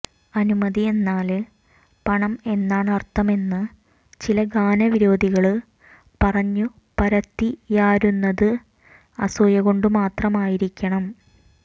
അനുമതി എന്നാല് പണം എന്നാണര്ത്ഥമെന്ന് ചില ഗാന വിരോധികള് പറഞ്ഞുപരത്തിയാരുന്നത് അസൂയ കൊണ്ടു മാത്രമായിരിക്കണം